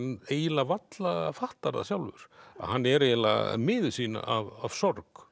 eiginlega varla fattar það sjálfur hann er eiginlega miður sín af sorg